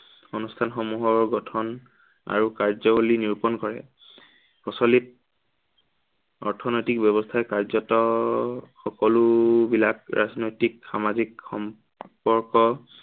অনুষ্ঠানসমূহৰ গঠন, আৰু কাৰ্যৱলী নিৰোপণ কৰে। প্ৰচলিত অৰ্থনেতিক ব্য়ৱস্থাই কাৰ্যত, সকলোবিলাক ৰাজনৈতিক, সামাজিক সম্পৰ্ক